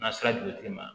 N'a sera jolitigi ma